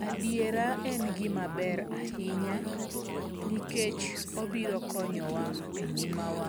Adiera en gima ber ahinya. Nikech obiro konyo wa e ngima wa